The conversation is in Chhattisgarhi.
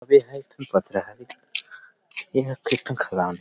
अउ यहाँ एक ठन पथरा हावे अउ यहाँ एक ठो खदान --